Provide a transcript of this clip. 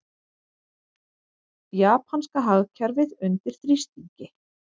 Japanska hagkerfið undir þrýstingi